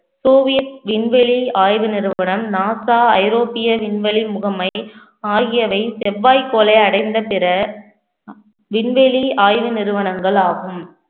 Soviet விண்வெளி ஆய்வு நிறுவனம் நாசா ஐரோப்பிய விண்வெளி முகமை ஆகியவை செவ்வாய் கோளை அடைந்த பிற விண்வெளி ஆய்வு நிறுவனங்கள் ஆகும்